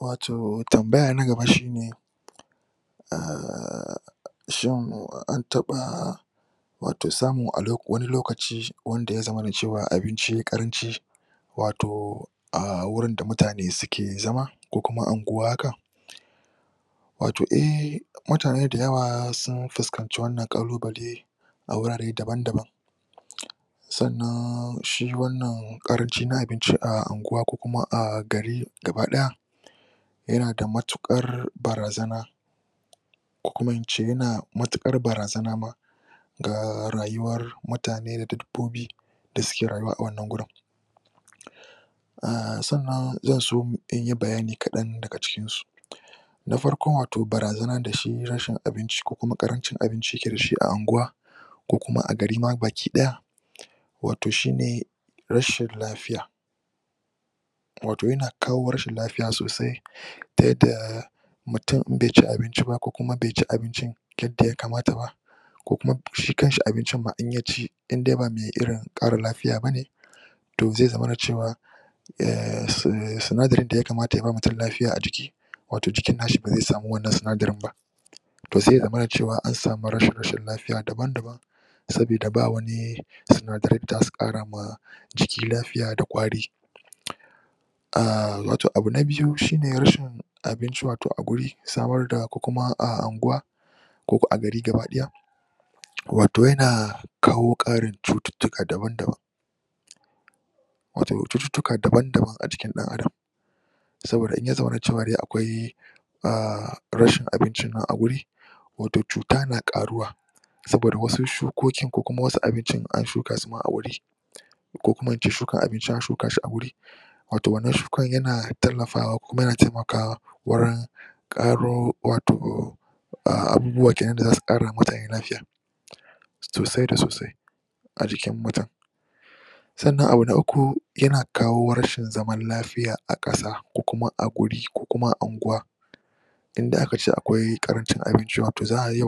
Wato tambaya na gaba shine, ahh shin an taɓa, wato samun wani lokaci wanda ya zamana cewa abinci yai ƙaranci wato, a wruin da mutane suke zama ko kuma anguwa haka? Wato ehh mutane da yawa sun fuskanci annan ƙalubale a wurare daban-daban sannan shi wannan ƙaranci na abinci a unguwa ko kuma a gari gaba ɗaya, yana da matuƙar barazana ko kuma in ce, yana matuƙar barazana ma ga rayuwar mutane da ta dabbobi, da suke rayuwa a wannan wurin. Ahh sannan zan so mu ɗanyi bayani kaɗan daga cikin su. Na farko wato shi barazana da shi rashin abinci ko kuma ƙarancin abinci ya ke da shi a unguwa, ko kuma a gari ma baki ɗaya wato shine rashin lafiya, wato yana kawo rashin lafiya sosai ta yadda mutum in bai ci abinci ba ko kuma in bai abincin yadda ya kamata ba ko kuma shi kan shi abincin ma in ya ci in dai ba me irin ƙara lafiya bane, to zai zamana cewa, ehh sindarin da ya kamata yaba mutum lafiya a jiki, wato jikin na shi ba zai sami wannan sinadarin ba. To sai ya zamana cewa an sami rashin lafiya dabam-dabam. sabida ba wani, sindaran da za su ƙara ma jiki lafiya da ƙwari. Ahh watoi abu na biyu shine rashin abinci wato a guri, samar da ko kumu a unguwa, ko a gari baki ɗaya. Wato yana kawo ƙarin cututtuka dabam-dabam, wato cututtuka dabam-dabam a jikin ɗan adam saboda in ya zamana cewar dai akwai ahh rashin bincin nan a guri, wato cuta na ƙaruwa, saboda wasun shukokin, ko kuma asu abincin in an shuka su ma a wuri ko kuma in ce shuka abincia shuka shi a wuri, a wato wannan shukar yana tallafawa ko kuma yana taimakawa wurin ƙaro wato abubuwa kena da za su ƙarawa mutane lafiya sosai da sosai a jikin mutum. Sanna abu na Uku, yana kawo rashin zamana lafiya a ƙasa ko kuma a guri ko kuma a unguwa. in da aka ce akwai ƙarancin abinci wato za a iya,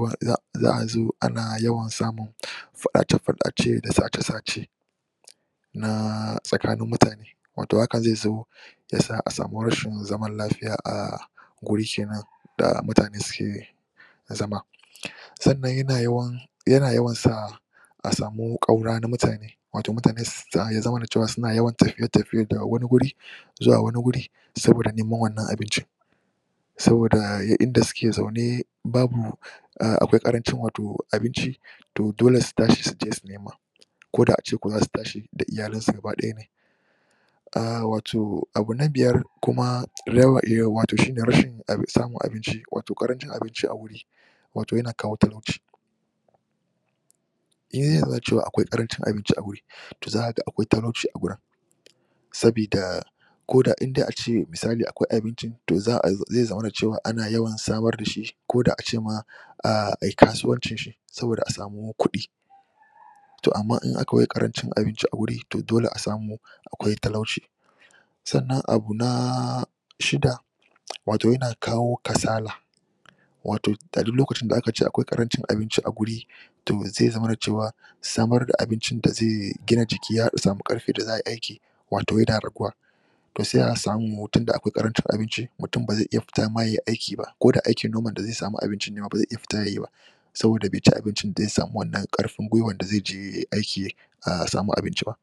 za'a zo ana yawan samun faɗace-faɗace da sace-sace, tsakanin mutane wato haka zai zo ya sa a sami rashin zaman lafiya a wuri kenan da mutane suke zama. Sannan yana yawan yana yawan sa a samu ƙaura na mutane wato mutane ya zamana cewa suna yawan tafiye-tafiye na wani guri zuwa wani guri sabida neman wannan abincin. Saboda duk in da suke zaune, babu akwai ƙarancin wato abinci to dole su tashi su je su nema ko da ace ko zasu tashi da iyalansu gaba ɗaya ne. Ahh wato, abu na Biyar, kuma shine Rashin Samun abinci, wato ƙarancin abincia wuri wato yana kawo talauci. In yau na cewa akwai ƙarancin abinci a wuri, to zaka ga akwai talauci a gurin, sabida ko da in da ake misali akwai abincin to za ai, zai zamana cewa ana yawan samar da shi ko da ace ma, ah ai kasuwancin shi, saboda a samu kuɗi to amma in akwai ƙarancin abinci a wuri to dole a samu akwai talauci. Sannan abu na Shida, wato yana kawo kasala, wato a duk lokacin da aka ce akwai ƙarancin abinci a wuri, to ai zamana cewa, samar da abincin da zai gina jiki har a sami ƙarfin da za ai aiki wato yana raguwa. To sai a samu tunda akwai ƙarancin abuinci, mutum ba zai iya fita ma yai aiki ba ko da aikin noman da zai sami abincin ne ma, ba zai iya fita yayi ba, saboda bai ci abincin da zai sami wannan ƙarfin gwiwar da zai je yai aiki aa sami abincin ba.